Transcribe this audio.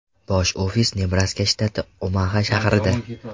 Bosh ofisi Nebraska shtati, Omaxa shahrida.